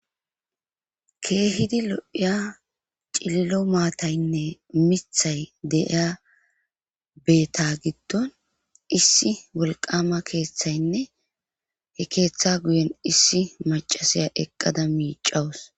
keehidi lo7iya cililo maataynne mithay de7iya beeta giddon issi wolqqaama keetheynne he keeta guyen issi maccasiya eqqada miiccawus.